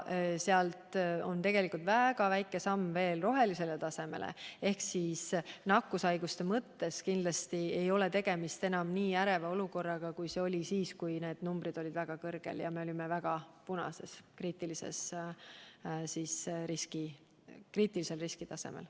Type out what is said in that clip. Sealt on väga väike samm rohelisele tasemele, nii et nakkushaiguste mõttes kindlasti ei ole tegemist enam nii äreva olukorraga, kui oli siis, kui need arvud olid väga suured ja me olime punasel, kriitilisel riskitasemel.